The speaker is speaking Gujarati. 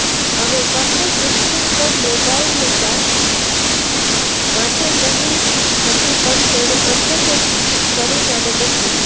હવે કરને ગિફ્ટ તો મલાઇકા માટે કહી હતી પણ તેણે અંતે તે કરિનાને મોકલી દીધી